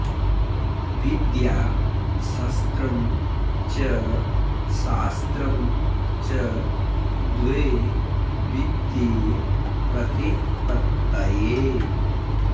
विद्या शस्त्रं च शास्त्रं च द्वे विद्ये प्रतिपत्तये